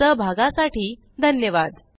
सहभागासाठी धन्यवाद